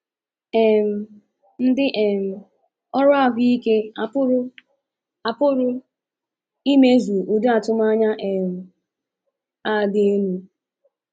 um Ndị um ọrụ ahụ ike apụrụ apụrụ imezu ụdị atụmanya um a dị elu?